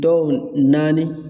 Dɔw naani